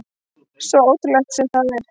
Svo ótrúlegt sem það er.